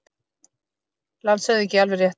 LANDSHÖFÐINGI: Alveg rétt.